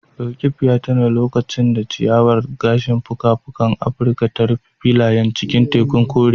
Roqeeb ya tuna lokacin da ciyawar gashin fuka-fukan Afirka ta rufe filayen cikin tekun kore.